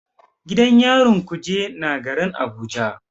Gidan yarin kuje na garin Abuja.